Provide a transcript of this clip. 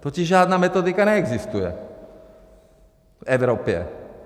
Totiž žádná metodika neexistuje v Evropě.